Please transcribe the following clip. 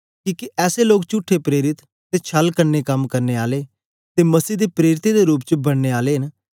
किके ऐसे लोग चुठे प्रेरित ते छल कन्ने कम करने आले ते मसीह दे प्रेरितें दे रूप च बनने आले न